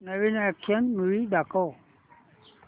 नवीन action movie दाखव